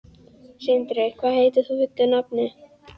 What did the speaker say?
Sindri, hvað heitir þú fullu nafni?